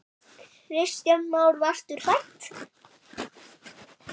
Kristján Már: Varstu hrædd?